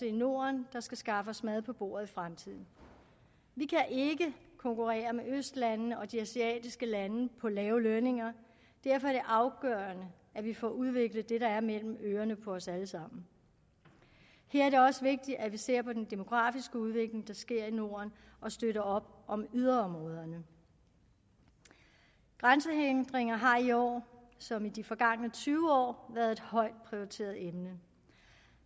i norden der skal skaffe os mad på bordet i fremtiden vi kan ikke konkurrere med østlandene og de asiatiske lande på lave lønninger derfor er det afgørende at vi får udviklet det der er mellem ørerne på os alle sammen her er det også vigtigt at vi ser på den demografiske udvikling der sker i norden og støtter op om yderområderne grænsehindringer har i år som i de forgangne tyve år været et højt prioriteret emne